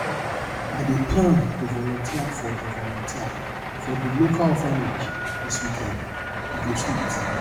i dey plan to volunteer for di volunteer for di local orphanage this weekend e go sweet